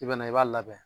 I bɛna i b'a labɛn